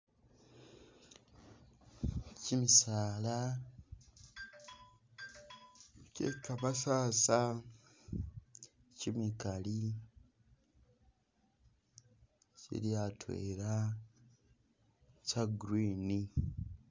Chimisaala kye kamasasa chimikaali kili atwela kya green